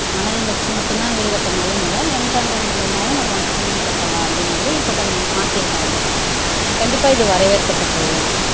மணல் வச்சு மட்டுந்தான் வீடு கட்ட முடியும்னு இல்ல m sand மூலமாவும் நம்ம வச்சு வீடு கட்டலாம் அப்படிங்கிறது இப்ப கொஞ்சம் மாத்திருக்காங்க கண்டிப்பா இது வரவேற்க்கத்தக்கதுதான்